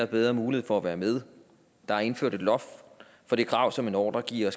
bedre mulighed for at være med der er indført et loft for det krav som en ordregiver